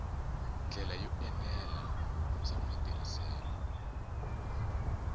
ndlela yo enela bya matirhiselo